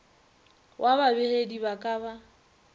wa babegedi ba ka ba